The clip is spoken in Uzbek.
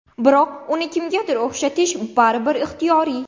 Biroq uni kimgadir o‘xshatish baribir ixtiyoriy.